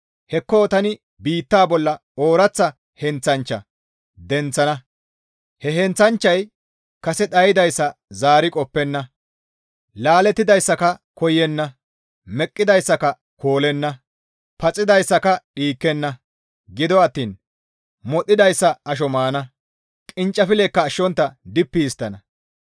Hekko tani biitta bolla ooraththa heenththanchcha denththana; he heenththanchchay kase dhaydayssa zaari qoppenna; laalettidayssaka koyenna; meqqidayssaka koolenna; paxidayssaka dhiikkenna; gido attiin modhidayssa asho maana; qinccifilleka ashshontta dippi histtana.